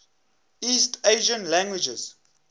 east asian languages